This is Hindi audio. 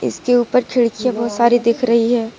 इसके ऊपर खिड़कियां बहुत सारी दिख रही है।